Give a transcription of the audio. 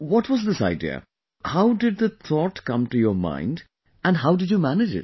What was this idea...how did the thought come to your mind and how did you manage it